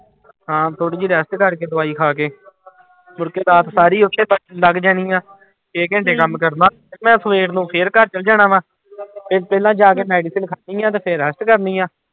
ਹਾਂ ਥੋੜ੍ਹੀ ਜਿਹੀ rest ਕਰਕੇ ਦਵਾਈ ਖਾ ਕੇ ਮੁੜਕੇ ਰਾਤ ਸਾਰੀ ਉੱਥੇ ਬਸ ਲੰਘ ਜਾਣੀ ਆਂ, ਛੇ ਘੰਟੇ ਕੰਮ ਕਰਨਾ ਮੈਂ ਸਵੇਰ ਨੂੰ ਫਿਰ ਘਰ ਚਲੇ ਜਾਣਾ ਵਾਂ ਤੇ ਪਹਿਲਾਂ ਜਾ ਕੇ ਖਾਣੀ ਆਂ ਤੇ ਫਿਰ rest ਕਰਨੀ ਆਂ।